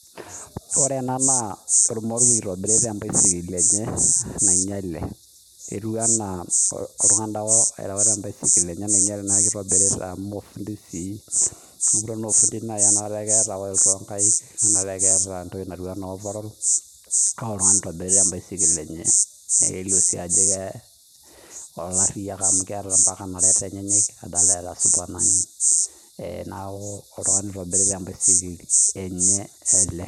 ore ena naa olmoruo oitobirita ebaisikil enye nainyiale, etui enaa oltung'ani taake erouta ebaisikil enye paa king'iale paa kitobirita amo fundi sii amu enakata aa keeta tokitin oong'aik neeta overall neeku oltung'ani oitobita ebaisikil enye , naa keeriyia ake amu keeta ampaka inareta enyenyek , adoolta supana neeku oltung'ani ele oitobirita ebaisikil enye.